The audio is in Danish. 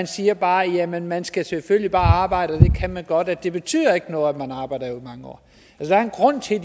siger bare jamen man skal selvfølgelig bare arbejde og det kan man godt og det betyder ikke noget at man arbejder i mange år der er en grund til at